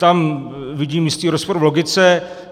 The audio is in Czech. Tam vidím jistý rozpor v logice.